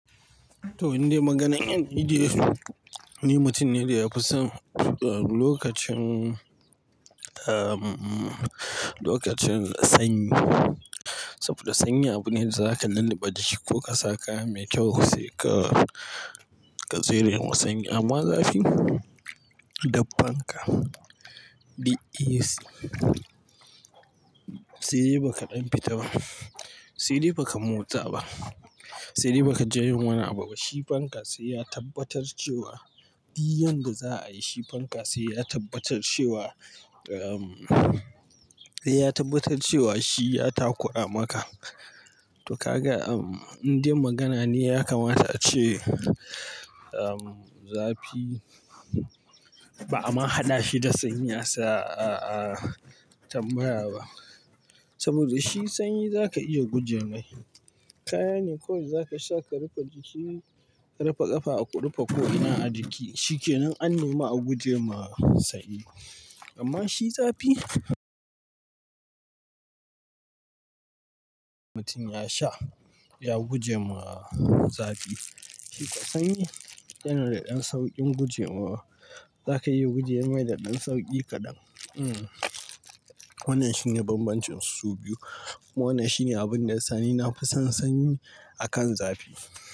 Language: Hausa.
To, in dai maganar in dai ni mutum ne da ya fi son lokacin, ahh, lokacin sanyi. Saboda sanyi abu ne da zaka lulluɓe jiki ko ka sa kaya mai kyau sai ka, ka tserewa sanyi amma zafi, da fanka, da AC. Sai dai ba ka dan fita ba, sai dai ba ka motsa ba, sai dai ba ka ji yin wani abu ba. Shi fanka sai ya tabbatar cewa, duk yanda za a yi, shi fanka sai ya tabbatar cewa, ahh, sai ya tabbatar cewa shi ya takura maka. To ka ga, in dai magana ne ya kamata a ce, ahh, zafi ba'a ma haɗa shi da sanyi a tambaya ba. Saboda shi sanyi zaka iya guje mai kaya ne kawai zaka sha ka rufe jiki, ka rufe ƙafa, ka rufe ko'ina a jiki. Shi kenan an nemi a guje ma sanyi. Amma shi zafi, mutum ya sha, ya guje ma zafi. Shi kam sanyi, yana da ɗan sauƙin gujewa. Zaka iya guje mai da ɗan sauƙi kaɗan. Hmm, wannan shine bambancin su biyu. Wannan shine abun da ya sa ni na fi son sanyi akan zafi.